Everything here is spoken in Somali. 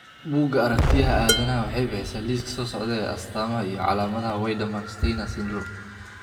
Buugga Aragtiyaha Aadanahawaxay bixisaa liiska soo socda ee astamaha iyo calaamadaha Wiedemann Steiner syndrome.